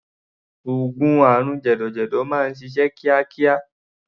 Oògùn àrùn jẹ̀dọ̀jẹ̀dọ̀ máa ń ṣiṣẹ́ kíákíá.